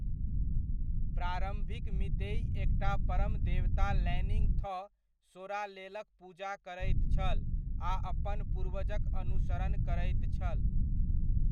प्रारम्भिक मीतेइ एकटा परम देवता लैनिङ्ग थौ सोरालेलक पूजा करैत छल आ अपन पूर्वजक अनुसरण करैत छल।